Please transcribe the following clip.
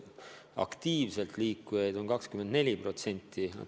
Aktiivselt liikujaid on 24%.